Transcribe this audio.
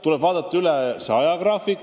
Kogu ajagraafik tuleb aga üle vaadata.